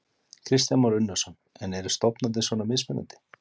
Kristján Már Unnarsson: En eru stofnanir svona mismunandi?